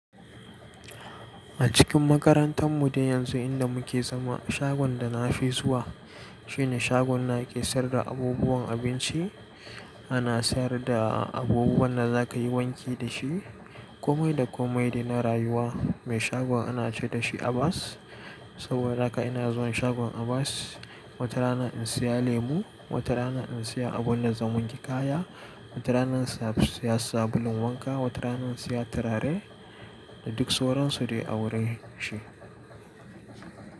A cikin makarantan mu dai yanzu inda muke zama, shagon da na fi zuwa shine shagon na ƙesayarda abubuwan abinci. Ana sayar da abubuwan da za ka yi wanki dashi, komai da komai dai na rayuwa. Mai shagon ana ce dashi Abbas. Saboda haka ina zuwan shagon Abbas, wata rana in siya lemo, wata rana in siya abun da zan wanke kaya, wata rana in siya sabulun wanka, wata rana in siya turare da duk sauransu su dai a wurin shi.